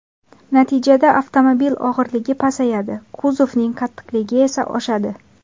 Natijada avtomobil og‘irligi pasayadi, kuzovning qattiqligi esa oshadi.